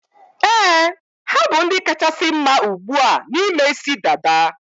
Éè, ha bụ ndị kachasị mma ugbua na ime isi dada